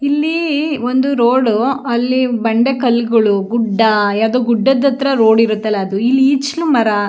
ಇಲ್ಲಿ ಒಂದು ರೋಡ್ ಅಲ್ಲಿ ಬಂಡೆ ಕಲ್ಲುಗಳು ಗುಡ್ಡ ಯಾವ್ದೋ ಗುಡ್ಡದ ಹತ್ತಿರ ರೋಡ್ ಇರತ್ತಲ್ಲ ಅದು ಇಲ್ ಈಚಲ ಮರ --